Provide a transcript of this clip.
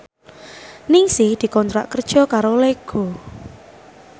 Ningsih dikontrak kerja karo Lego